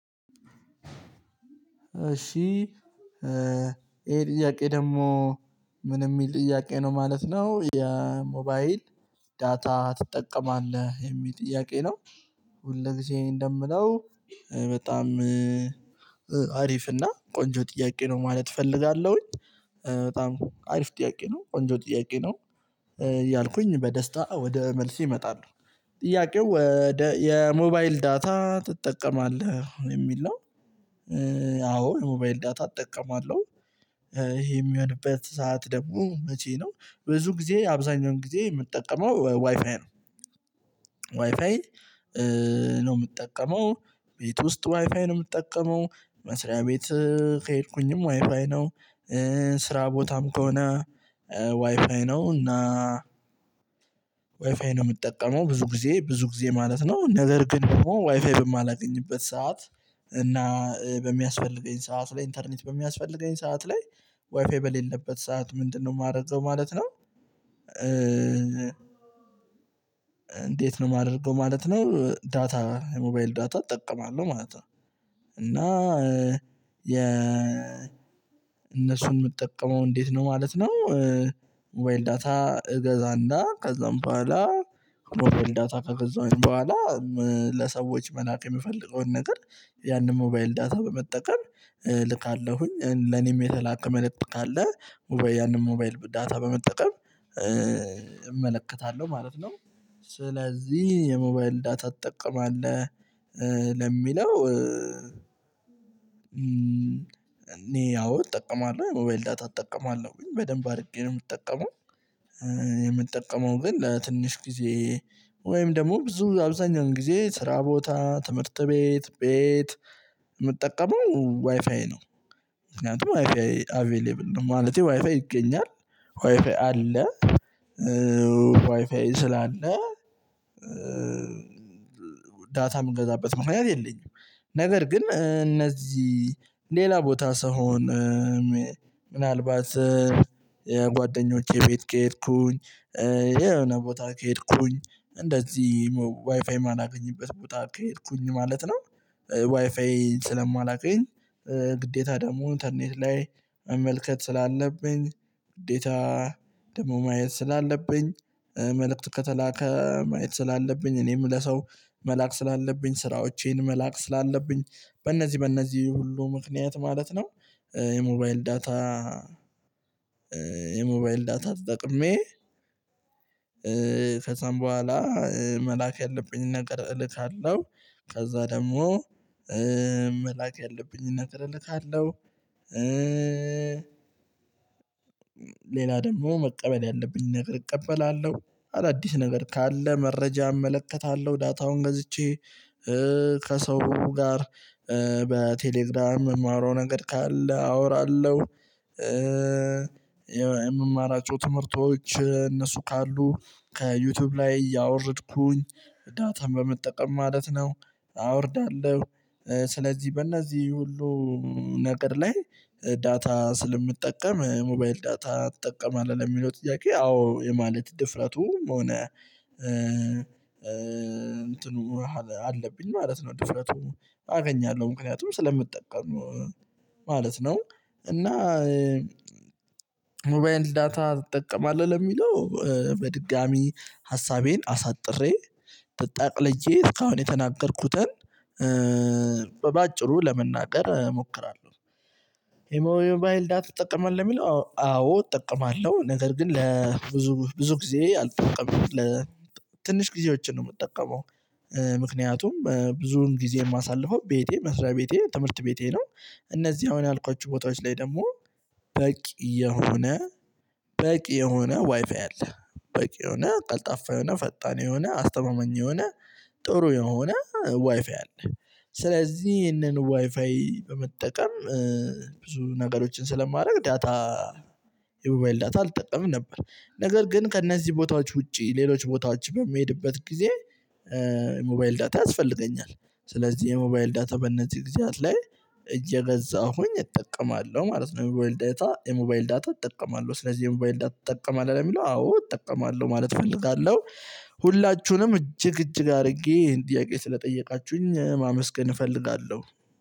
እሺ ይሄ ጥያቄ ደግሞ ምን የሚል ጥያቄ ነው ማለት ነው የሞባይል ዳታ ትጠቀማለህ የሚል ጥያቄ ነው። ሁል ግዜ እንደምለው በጣም አሪፍ እና ቆንጆ ጥያቄ ነው። ማለት እፈልጋለሁኝ በጣም አሪፍ ጥያቄ ነው ቆንጆ ጥያቄ ነው። እያልኩኝ በደስታ ወደ መልሴ እመጣለሁ ጥያቄው ወደ የሞባይል ዳታ ትጠቀማለህ የሚል ነው። አዎ የሞባይል ዳታ እጠቀማለሁ። ይሄ የሚሆንበት ሰዓት ደግሞ መቼ ነው? ብዙ ጊዜ አብዛኛውን ጊዜ የምጠቀመው ዋይፋይ ነው። ዋይፋይ ነው የምጠቀመው ቤት ውስጥ ዋይፋይ ነው የምጠቀመው መስሪያ ቤት ከሄድኩኝም ዋይፋይ ነው። ስራ ቦታም ከሆነ ዋይፋይ ነው እና። ዋይፋይ ነው የምጠቀመው ብዙ ጊዜ ብዙ ጊዜ ማለት ነው። ነገር ግን ደግሞ ዋይፋይ በማላገኝበት ሰዓት እና በሚያስፈልገኝ ሰዓት ላይ ኢንተርኔት በሚያስፈልገኝ ሰዓት ላይ ዋይፋይ በሌለበት ሰዓት ምንድነው የማረገው ማለት ነው? እንዴት ነው ማድረገው ማለት ነው ዳታ የሞባይል ዳታ እጠቀማለሁ ማለት ነው። እና የ እነሱን የምጠቀመው እንዴት ነው ማለት ነው። ሞባይል ዳታ እገዛና ከዛም በኋላ ሞባይል ዳታ ከገዛሁኝ በኋላ ለሰዎች መላክ የምፈልገውን ነገር ያንን ሞባይል ዳታ በመጠቀም እልካለሁኝ ለኔም የተላከ መልክት ካለ ያንን ሞባይል ዳታ በመጠቀም እመለከታለሁ ማለት ነው። ስለዚህ የሞባይል ዳታ ትጠቀማለሁ ለሚለው። እኔ አዎ እጠቀማለሁ ሞባይል ዳታ እጠቀማለሁ በደንብ አድርጌ ነው የምጠቀመው። የምጠቀመው ግን ለትንሽ ጊዜ ወይም ደግሞ ብዙ አብዛኛውን ጊዜ ስራ ቦታ ትምህርት ቤት ቤት የምጠቀመው ዋይፋይ ነው። ምክንያቱም ዋይፋይ አቬሌብል ነው ማለቴ ዋይፋይ ይገኛል። ዋይፋይ አለ። ዋይፋይ ስላለ ዳታ የምገዛበት ምክንያት የለኝም። ነገር ግን እነዚህ ሌላ ቦታ ስሆን ምናልባት የጓደኞቼ ቤት ከሄድኩኝ የሆነ ቦታ ከሄድኩኝ እንደዚህ ዋይፋይ ማላገኝበት ቦታ ከሄድኩኝ ማለት ነው። ዋይፋይ ስለማላገኝ ግዴታ ደግሞ ኢንተርኔት ላይ መመልከት ስላለብኝ ግዴታ ደግሞ ማየት ስላለብኝ መልእክት ከተላከ ማየት ስላለብኝ እኔም ለሰው መላክ ስላለብኝ ስራዎቼን መላክ ስላለብኝ በእነዚህ በእነዚህ ሁሉ ምክንያት ማለት ነው። የሞባይል ዳታ የሞባይል ዳታ ተጠቅሜ ከዛም በኋላ መላክ ያለብኝን ነገር እልካለሁ። ከዛ ደግሞ መላክ ያለብኝን ነገር እልካለሁ። ሌላ ደግሞ መቀበል ያለብኝ ነገር እቀበላለሁ። አዳዲስ ነገር ካለ መረጃ እመለከታለሁ ዳታውን ገዝቼ ከሰው ጋር በቴሌግራም የማውረው ነገር ካለ አወራለሁ። የምማራቸው ትምህርቶች እነሱ ካሉ ከዩቱዩብ ላይ ያወረድኩኝ ዳታም በመጠቀም ማለት ነው። አወርዳለሁ። ስለዚህ በእነዚህ ሁሉ ነገር ላይ ዳታ ስለምጠቀም ሞባይል ዳታ ትጠቀማለህ ለሚለው ጥያቄ አዎ የማለት ድፍረቱም ሆነ። እንትኑ አለብኝ ማለት ነው ድፍረቱ አገኛለሁ ምክንያቱም ስለምጠቀም ማለት ነው። እና ሞባይል ዳታ ትጠቀማለሁ ለሚለው በድጋሚ ሀሳቤን አሳጥሬ ጠቅልዬ እስካሁን የተናገርኩትን በአጭሩ ለመናገር እሞክራለሁ። የሞባይል ዳታ ትጠቀማለህ ለሚለው አዎ እጠቀማለሁ ነገር ግን ለብዙ ብዙ ጊዜ አልጠቀመም ለትንሽ ጊዜዎችን ነው የምጠቀመው። ምክንያቱም ብዙውን ጊዜን ማሳለፈው ቤቴ መስሪያ ቤቴ ትምህርት ቤቴ ነው። እነዚህ አሁን ያልኳችሁ ቦታዎች ላይ ደግሞ በቂ የሆነ በቂ የሆነ ዋይፋይ አለ። በቂ የሆነ ቀልጣፋ የሆነ ፈጣን የሆነ አስተማመኛ የሆነ ጥሩ የሆነ ዋይፋይ አለ። ስለዚህ ይህንን ዋይፋይ በመጠቀም ብዙ ነገሮችን ስለማድረግ ዳታ የቦማይል ዳታ አልጠቀምም ነበር። ነገር ግን ከእነዚህ ቦታዎች ውጪ ሌሎች ቦታዎች በሚሄድበት ጊዜ ሞባይል ዳታ ያስፈልገኛል። ስለዚህ የሞባይል ዳታ በእነዚህ ጊዜያት ላይ እየገዛሁኝ እጠቀማለሁ ማለት ነው። የሞባይል ዳታ የሞባይል ዳታ እጠቀማለሁ ስለዚህ የሞባይል ዳታ ትጠቀማለሁ ለሚለው አዎ እጠቀማለሁ ማለት እፈልጋለሁ። ሁላችሁንም እጅግ እጅግ አድርጌ ይሄን ጥያቄ ስለጠየቃችሁኝ ማመስገን እፈልጋለሁ።